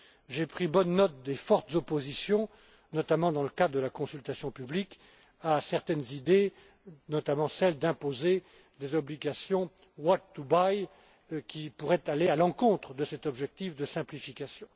J'ai pris bonne note des fortes oppositions, notamment dans le cadre de la consultation publique, à certaines idées, notamment celle d'imposer des obligations what to buy qui pourraient aller à l'encontre de cet objectif de simplification.